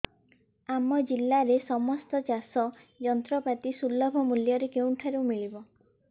ଆମ ଜିଲ୍ଲାରେ ସମସ୍ତ ଚାଷ ଯନ୍ତ୍ରପାତି ସୁଲଭ ମୁଲ୍ଯରେ କେଉଁଠାରୁ ମିଳିବ